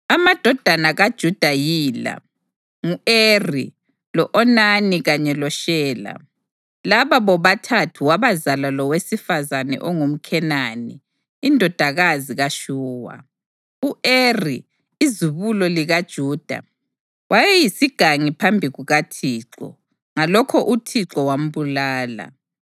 Amadodana kaJuda yila: ngu-Eri, lo-Onani kanye loShela. Laba bobathathu wabazala lowesifazane ongumKhenani, indodakazi kaShuwa. U-Eri, izibulo likaJuda, wayeyisigangi phambi kukaThixo, ngalokho uThixo wambulala.